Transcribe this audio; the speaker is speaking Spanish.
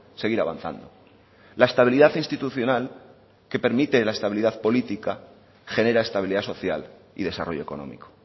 seguir avanzando la estabilidad institucional que permite la estabilidad política genera estabilidad social y desarrollo económico